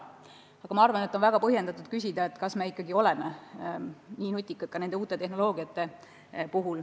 Minu arvates on siiski väga põhjendatud küsida, kas me ikka oleme nii nutikad ka siis, kui mängus on uued tehnoloogiad.